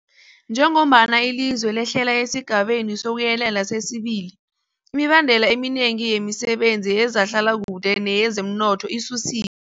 Njengombana ilizwe lehlela esiGabeni sokuYelela sesi-2, imibandela eminengi yemisebenzi yezehlalakuhle neyezomnotho isusi